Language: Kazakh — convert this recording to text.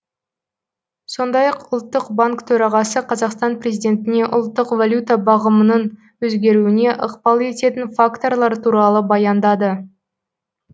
сондай ақ ұлттық банк төрағасы қазақстан президентіне ұлттық валюта бағамының өзгеруіне ықпал ететін факторлар туралы баяндады